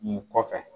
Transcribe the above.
Nin kɔfɛ